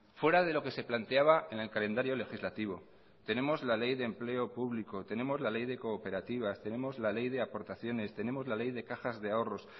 fuera de lo que se planteaba en el calendario legislativo tenemos la ley de empleo público tenemos la ley de cooperativas tenemos la ley de aportaciones tenemos la ley de cajas de ahorros